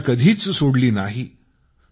त्यानं आशा कधीच सोडली नाही